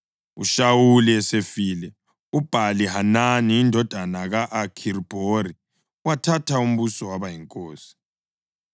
UShawuli esefile, uBhali-Hanani indodana ka-Akhibhori wathatha umbuso waba yinkosi.